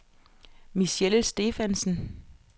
Michelle Stephansen